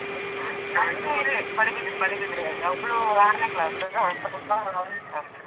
ನಂದು ಇಲ್ಲೇ ಪಡುಬಿದ್ರೆ ಪಡುಬಿದ್ರೆ ಅಲ್ಲಿ ಒಬ್ಬಳು ಆರ್ನೇ class ಮತ್ತೊಬ್ಬಾ ಒಂದ್ನೇ class .